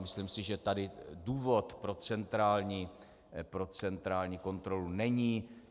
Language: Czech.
Myslím si, že tady důvod pro centrální kontrolu není.